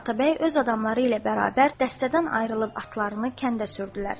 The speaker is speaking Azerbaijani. Atabəy öz adamları ilə bərabər dəstədən ayrılıb atlarını kəndə sürdülər.